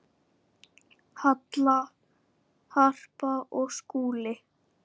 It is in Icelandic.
Halla, Harpa og Skúli.